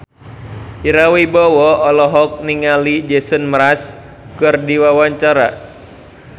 Ira Wibowo olohok ningali Jason Mraz keur diwawancara